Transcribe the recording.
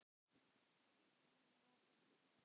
Framtíð mín er opin.